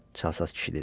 Çalsaz kişi dedi.